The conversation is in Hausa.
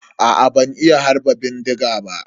Aa ban iya harba bindiga ba.